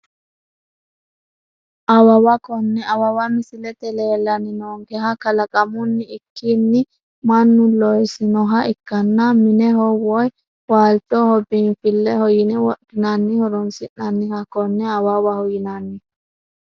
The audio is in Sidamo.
Awawa kone awawa misilete leelani noonkeha kalaqamuni ikikini manu loisinoha ikanna mineho wopyi waalchoho biinfileho yine wodhinani horonsinaniha kone awawaho yinani.